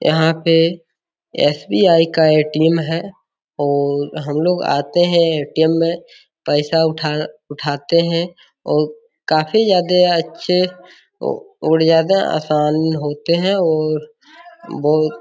यहाँ पे एस.बी.आई. का ए.टी.एम. है और हम लोग आते हैं ए.टी.एम. में पैसा उठा उठाते हैं और काफी ज्यादा अच्छे और ज्यादा आसान होते हैं और बहुत --